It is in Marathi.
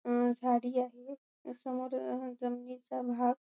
अ झाडी आहे समोर जमिनीचा भाग--